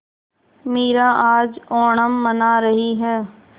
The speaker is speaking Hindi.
मीरा आज ओणम मना रही है